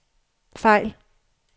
fejl